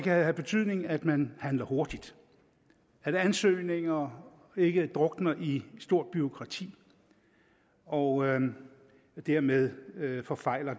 have betydning at man handler hurtigt at ansøgninger ikke drukner i et stort bureaukrati og dermed forfejler